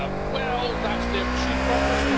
Well, that's their true purpose.